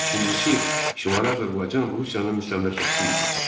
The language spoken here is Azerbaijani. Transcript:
İkincisi, Şimali Azərbaycan Rusiyanın müstəmləkəsi idi.